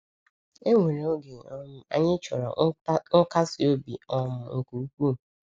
Enwere oge um anyị chọrọ nkasi obi um nke ukwuu.